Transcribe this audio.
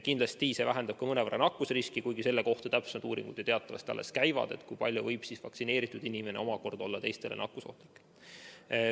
Kindlasti vähendab see mõnevõrra ka nakkusriski, kuigi täpsemad uuringud teatavasti alles käivad, et selgitada välja, millisel määral võib vaktsineeritud inimene omakorda olla teistele nakkusohtlik.